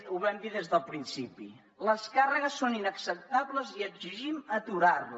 ho vam dir des del principi les càrregues són inacceptables i exigim aturar les